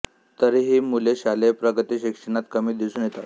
तरीहि हि मुले शालेय प्रगती शिक्षणात कमी दिसून येतात